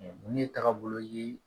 Mun ye tagabolo ye